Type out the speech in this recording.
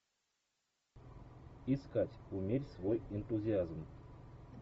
искать умерь свой энтузиазм